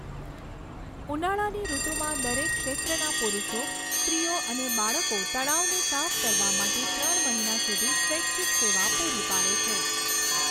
ઉનાળાની ઋતુમાં દરેક ક્ષેત્રના પુરુષો, સ્ત્રીઓ અને બાળકો તળાવને સાફ કરવા માટે ત્રણ મહિના સુધી સ્વૈચ્છિક સેવા પૂરી પાડે છે.